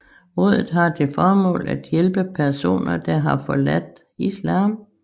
Rådet har til formål at hjælpe personer der har forladt Islam